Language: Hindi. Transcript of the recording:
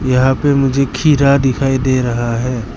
यहां पे मुझे खीरा दिखाई दे रहा है।